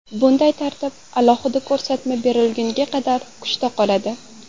Bunday tartib alohida ko‘rsatma berilgunga qadar kuchda qoladi.